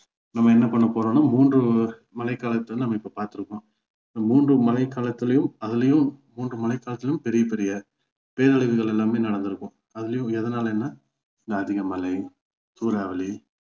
நம்ம என்ன பண்ண போறோம்னா மூன்று மழைகாலத்தை நம்ம இப்போ பார்த்து இருக்கோம் இந்த மூன்று மழை காலத்துலையும் அதுலயும் மூன்று மழை காலத்துலையும் பெரிய பெரிய பேரழிவுகள் எல்லாமே நடந்துருக்கும் அதுலயும் எதனாலன்னா இந்த அதிக மழை சூறாவளி